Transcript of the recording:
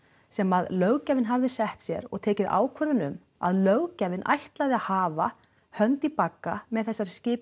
sem að löggjafinn hafði sett sér og teki ákvörðun um að löggjafinn ætlaði að hafa hönd í bagga með þessari skipun